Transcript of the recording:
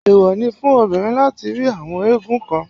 Èwò ni fún obìnrin láti rí àwọn eégún kan.